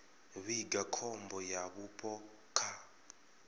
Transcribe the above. vhiga khombo ya vhupo kha